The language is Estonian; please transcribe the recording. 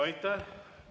Aitäh!